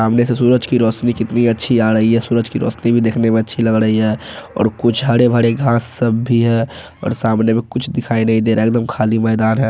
सामने से सूरज की रोशनी कितनी अच्छी आ रही है सूरज की रोशनी भी देखने में अच्छी लग रही है और कुछ हरे-भरे घास सब भी है और सामने में कुछ दिखाई नहीं दे रहा है एकदम खाली मैदान है।